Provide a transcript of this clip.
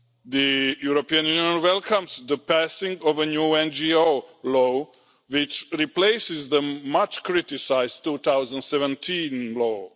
The European Union welcomes the passing of a new NGO law which replaces the much-criticised 2017 law.